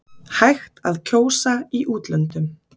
Hægt að kjósa í útlöndum